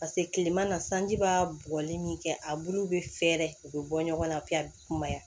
paseke kileman sanji b'a bugɔli min kɛ a bulu be fɛɛrɛ u be bɔ ɲɔgɔn na a bi ka kumaya